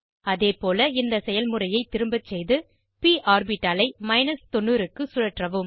அதேபோல இந்த செயல்முறையை திரும்பசெய்து ப் ஆர்பிட்டாலை 90 க்கு சுழற்றவும்